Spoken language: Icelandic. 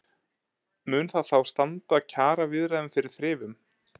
Mun það þá standa kjaraviðræðum fyrir þrifum?